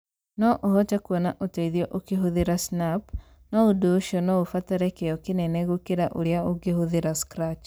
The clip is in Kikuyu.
No ũhote kuona ũteithio ũkĩhũthĩra Snap, no ũndũ ũcio no ũbatare kĩyo kĩnene gũkĩra ũrĩa ũngĩhũthĩra Scratch